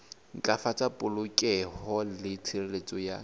ntlafatsa polokeho le tshireletso ya